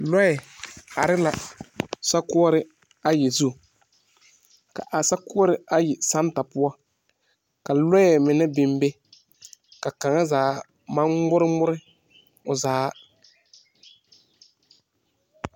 Lɔe are la sokuore ayi zu. Ka a sokuore ayi santa poʊ, ka lɔe mene biŋ be. Ka kanga zaa maŋ gmoore gmoore o zaa.